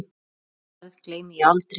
Þessari ferð gleymi ég aldrei.